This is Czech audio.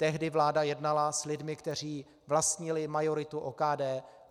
Tehdy vláda jednala s lidmi, kteří vlastnili majoritu OKD.